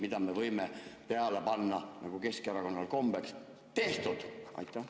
Millele me võime peale panna, nagu Keskerakonnal kombeks – "Tehtud!"?